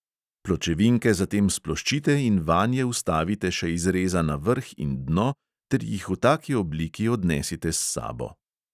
Pločevinke zatem sploščite in vanje vstavite še izrezana vrh in dno ter jih v taki obliki odnesite s sabo.